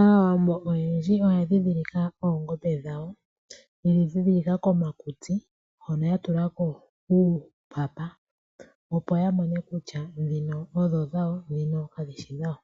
Aawambo oyendji oya ndhidhilika oongombe dhawo yedhi ndhidhilika komakutsi hono ya tulako uupapa, opo ya mone kutya dhino odho dhawo dhino kadhishi dhawo,